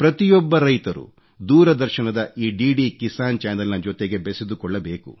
ಪ್ರತಿಯೊಬ್ಬ ರೈತರೂ ದೂರದರ್ಶನದ ಈ ಆಆ ಏisಚಿಟಿ ಅhಚಿಟಿಟಿeಟ ನ ಜೊತೆಗೆ ಬೆಸೆದುಕೊಳ್ಳಬೇಕು